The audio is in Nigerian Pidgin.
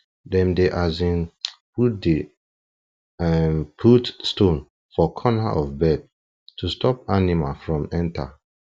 dem dey um put dey um put stone for corner of bed to stop animal from enter